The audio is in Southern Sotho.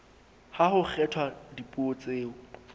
ha ho kgethwa dipuo tseo